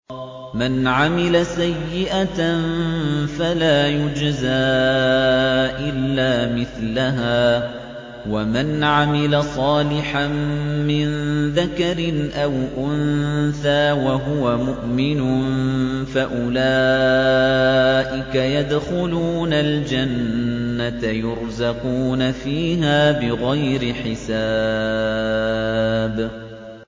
مَنْ عَمِلَ سَيِّئَةً فَلَا يُجْزَىٰ إِلَّا مِثْلَهَا ۖ وَمَنْ عَمِلَ صَالِحًا مِّن ذَكَرٍ أَوْ أُنثَىٰ وَهُوَ مُؤْمِنٌ فَأُولَٰئِكَ يَدْخُلُونَ الْجَنَّةَ يُرْزَقُونَ فِيهَا بِغَيْرِ حِسَابٍ